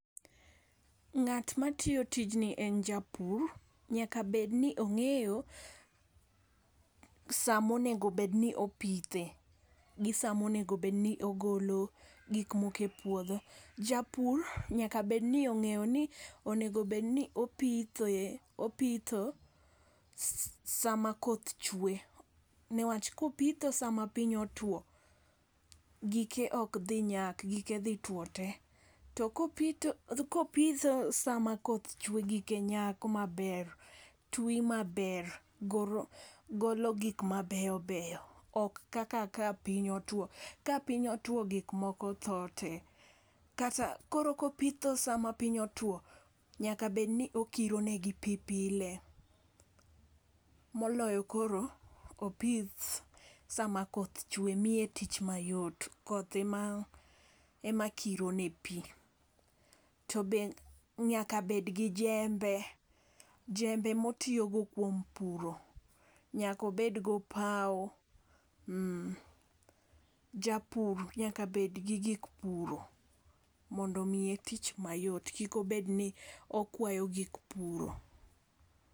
Ng'at matiyo tijni en japur nyaka bed ni ong'eyo saa monego bed ni opithe gi samonego bed ni ogolo gik moke puodho. Japur nyaka bed ni ong'eyo ni onego bed ni opithoe opitho saa ma koth chwe niwach, kopitho sama piny otwo gike ok dhi nyak gike dhi two te. Kopitho sama koth chwe gike nyak maber, twi maber, golo gik mabeyobeyo ok kaka ka piny otwo ka piny otwo gik moko tho tee . Koro kopitho sama Piny otwo nyaka bed ni okiro ne gi pii pile moloyo koro opith sama koth weche miye tich mayot koth ema kiro ne pii to be nyaka bed gi jembe, jembo motiyo go kuom puro nyako bed gopawo. Japur nyaka bed gi gik puro mondo mi tich mayot kik obed ni okwayo gik puro .